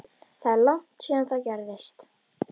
Það er langt síðan það gerðist